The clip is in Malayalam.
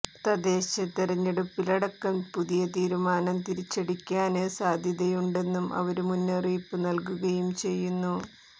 തദ്ദേശതെരഞ്ഞെടുപ്പിലടക്കം പുതിയ തീരുമാനം തിരിച്ചടിക്കാന് സാധ്യതയുണ്ടെന്നും അവര് മുന്നറിയിപ്പ് നല്കുകയും ചെയ്യുന്നു